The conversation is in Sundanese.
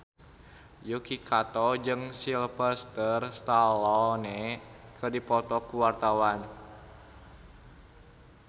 Yuki Kato jeung Sylvester Stallone keur dipoto ku wartawan